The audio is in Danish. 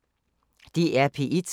DR P1